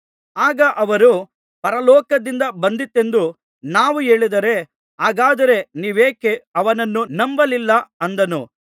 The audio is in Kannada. ಆಗ ಅವರು ಪರಲೋಕದಿಂದ ಬಂದಿತೆಂದು ನಾವು ಹೇಳಿದರೆ ಹಾಗಾದರೆ ನೀವೇಕೆ ಅವನನ್ನು ನಂಬಲಿಲ್ಲ ಅಂದಾನು